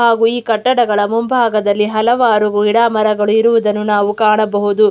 ಹಾಗು ಈ ಕಟ್ಟಡಗಳ ಮುಂಭಾಗದಲ್ಲಿ ಹಲವಾರು ಗಿಡ ಮರಗಳು ಇರುವುದನ್ನು ನಾವು ಕಾಣಬಹುದು.